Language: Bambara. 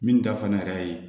Min ta fɛnɛ yɛrɛ ye